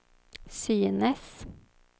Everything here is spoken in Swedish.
synes